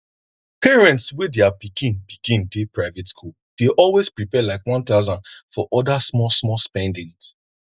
parents wey their pikin pikin dey private school dey always prepare like 1000 for other smallsmall spendings